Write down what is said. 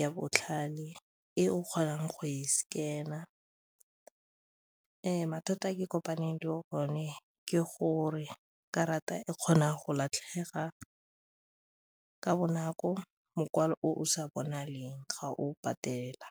ya botlhale e o kgonang go e scanner. Mathata a ke kopaneng le bone ke gore karata e kgona go latlhega ka bonako, mokwalo o sa bonaleng ga o patela.